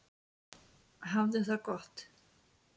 Hafðu það gott!